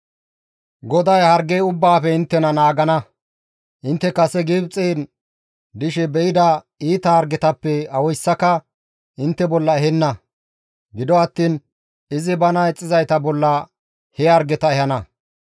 GODAY harge ubbaafe inttena naagana; intte kase Gibxen dishe be7ida iita hargetappe awoyssaka intte bolla ehenna; gido attiin izi bana ixxizayta bolla he hargeta ehana.